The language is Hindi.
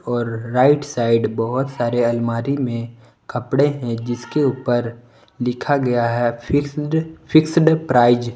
और राइट साइड बहुत सारे अलमारी में कपड़े हैं जिसके ऊपर लिखा गया है फिक्स्ड फिक्स्ड प्राइज